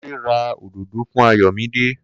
Kunle ra òdòdó fún Ayomide